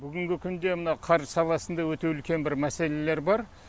бүгінгі күнде мынау қаржы саласында өте үлкен бір мәселелер бар